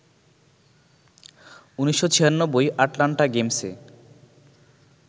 ১৯৯৬ Atlanta গেমসে